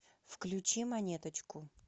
включи монеточку